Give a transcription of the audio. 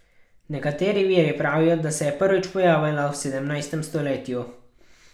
Nekateri viri pravijo, da se je prvič pojavila v sedemnajstem stoletju.